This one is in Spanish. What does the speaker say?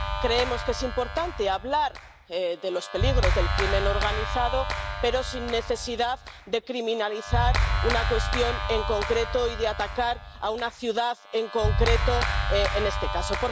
Creemos que es importante hablar de los peligros de la delincuencia organizada, pero sin necesidad de criminalizar una cuestión en concreto y de atacar a una ciudad en concreto, en este caso.